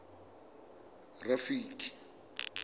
rafiki